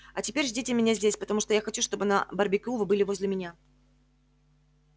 а теперь ждите меня здесь потому что я хочу чтобы на барбекю вы были возле меня